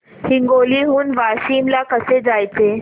हिंगोली हून वाशीम ला कसे जायचे